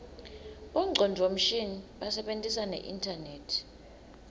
bongcondvo mshini basebentisa neinternet